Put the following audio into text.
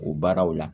O baaraw la